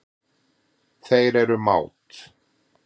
Þeir eru mát.